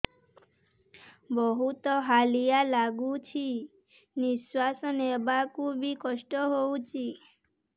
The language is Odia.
ବହୁତ୍ ହାଲିଆ ଲାଗୁଚି ନିଃଶ୍ବାସ ନେବାକୁ ଵି କଷ୍ଟ ଲାଗୁଚି